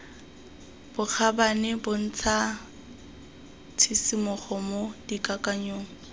bokgabane bontsha tshisimogo mo dikakanyong